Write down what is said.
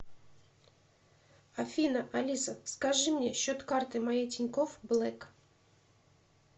афина алиса скажи мне счет карты моей тинькофф блэк